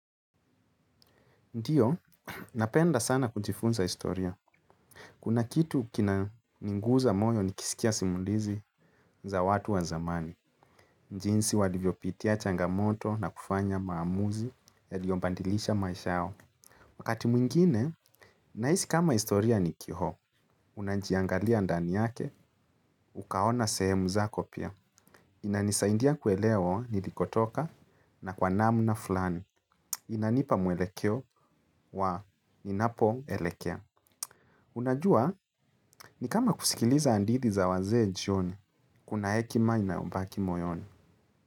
Ndiyo, napenda sana kujifunza historia. Kuna kitu kinaninguza moyo nikisikia simulizi za watu wa zamani. Njinsi walivyo pitia changamoto na kufanya maamuzi yaliombandilisha maisha yao. Wakati mwingine, naisi kama historia ni kiho. Unajiangalia ndani yake, ukaona sehemu zako pia. Inanisaindia kuelewa nilikotoka na kwa namna fulani. Inanipa mwelekeo wa ninapo elekea. Unajua ni kama kusikiliza andithi za wazee njioni, kuna hekima inayombaki moyoni.